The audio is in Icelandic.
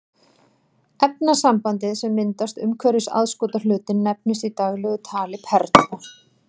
Efnasambandið sem myndast umhverfis aðskotahlutinn nefnist í daglegu tali perla.